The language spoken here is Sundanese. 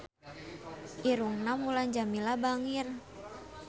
Irungna Mulan Jameela bangir